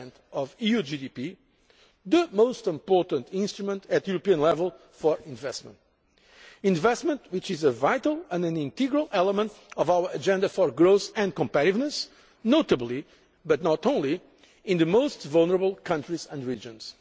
1 of EU GDP is the most important instrument at European level for investment, and investment is a vital and integral element of our agenda for growth and competitiveness, notably but not only in the most vulnerable countries and regions.